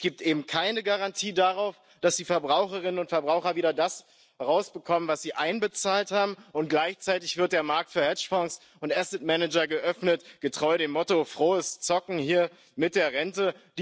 Es gibt eben keine Garantie darauf, dass die Verbraucherinnen und Verbraucher wieder das herausbekommen, was sie einbezahlt haben, und gleichzeitig wird der Markt für Hedgefonds und Asset Manager geöffnet getreu dem Motto Frohes Zocken mit der Rente.